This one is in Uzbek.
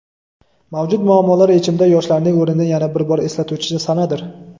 mavjud muammolar yechimida yoshlarning o‘rnini yana bir bor eslatuvchi sanadir.